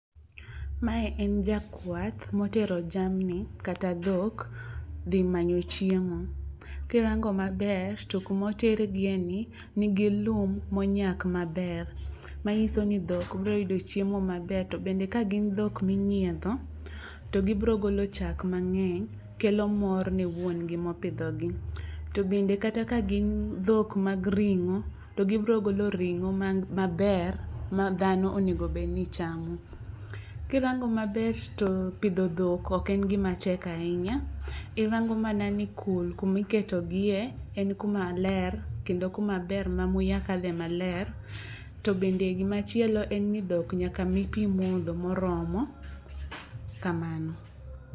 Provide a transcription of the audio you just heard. Mae en jakwath motero jamni kata dhok dhi manyo chiemo. Kirango maber to kumotergie ni nigi lum monyak maber. Manyiso ni dhok biro yudo chiemo mabwer. To bende ka gin dhok minyiedho to gibiro golo chak mang'eny. Kelo kor ne wuongi mpidho gi. To bende kata ka gin dhok mag ring'o to gibiro golo ring'o maber ma dhano onego bed ni chamo. Kirango maber to pidho dhok ok en gima tek ahinya. Irango mana ni kul kumiketogie en kuma ler kendo kuma ber ma muya kadhe maler. To bende gima chielo en ni dhok nyaka mi pi modho moromo. Kamano.